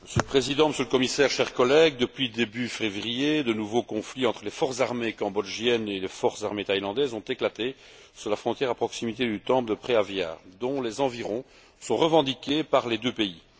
Monsieur le Président, Monsieur le Commissaire, chers collègues, depuis début février, de nouveaux conflits entre les forces armées cambodgiennes et les forces armées thaïlandaises ont éclaté sur la frontière à proximité du temple de Preah Vihear, dont les environs sont revendiqués par les deux pays.